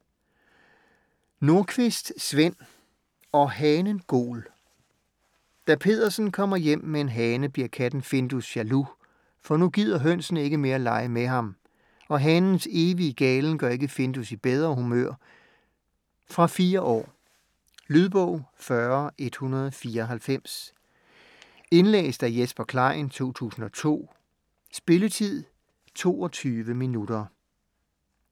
Nordqvist, Sven: Og hanen gol Da Peddersen kommer hjem med en hane bliver katten Findus jaloux, for nu gider hønsene ikke mere lege med ham. Og hanens evige galen gør ikke Findus i bedre humør. Fra 4 år. Lydbog 40194 Indlæst af Jesper Klein, 2002. Spilletid: 0 timer, 22 minutter.